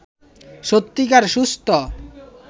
সত্যিকার সুস্থ